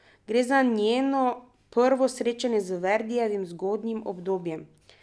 Gre za njeno prvo srečanje z Verdijevim zgodnjim obdobjem.